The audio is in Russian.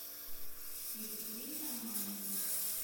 екатерине романовне